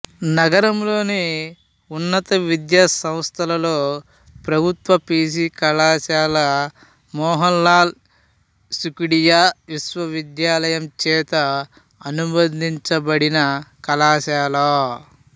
నగరంలోని ఉన్నత విద్యాసంస్థలలో ప్రభుత్వ పి జి కళాశాల మోహన్ లాల్ సుఖాడియా విశ్వవిద్యాలయం చేత అనుబంధించబడిన కళాశాల